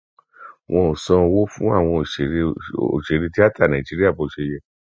wọn ò san owó fún àwọn òṣèré òṣèré tìata nàìjíríà bó ṣe yẹ